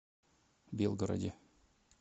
белгороде